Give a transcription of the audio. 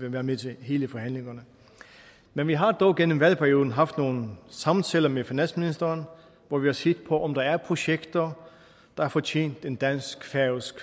være med til alle forhandlingerne men vi har dog gennem valgperioden haft nogle samtaler med finansministeren hvor vi har set på om der er projekter der har fortjent en fælles dansk færøsk